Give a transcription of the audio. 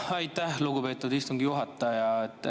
Aitäh, lugupeetud istungi juhataja!